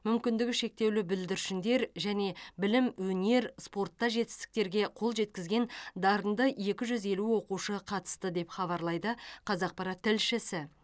мүмкіндігі шектеулі бүлдіршіндер және білім өнер спортта жетістіктерге қол жеткізген дарынды екі жүз елу оқушы қатысты деп хабарлайды қазақпарат тілшісі